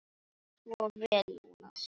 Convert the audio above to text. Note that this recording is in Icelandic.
Gerðu svo vel, Jónas!